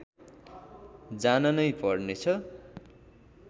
जान नै पर्नेछ